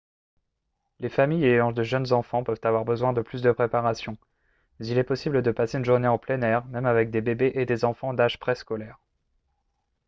les familles ayant de jeunes enfants peuvent avoir besoin de plus de préparation mais il est possible de passer une journée en plein air même avec des bébés et des enfants d'âge préscolaire